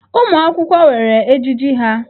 Ụmụ akwụkwọ nwere ejiji ha.